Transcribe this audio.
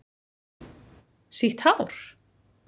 sítt hár?